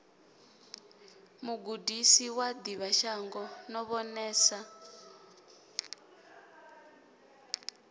mugudisi wa ḓivhashango no vhonesa